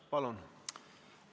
Palun!